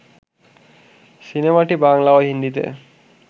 সিনেমাটি বাংলা ও হিন্দিতে